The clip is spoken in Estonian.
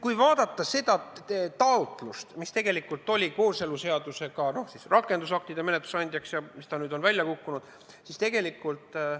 Kui vaadata taotlust, mis tegelikult oli kooseluseaduse ja rakendusaktide menetlusse andmisel, mis on nüüd menetlusest välja kukkunud, siis tegelikult ...